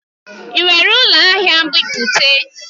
Ị nwere ụlọ ahịa nbipute?